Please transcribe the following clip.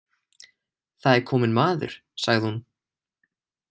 Það er kominn maður, sagði hún.